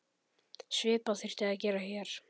Svipað þyrfti að gera hér.